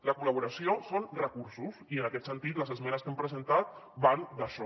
la col·laboració són recursos i en aquest sentit les esmenes que hem presentat van d’això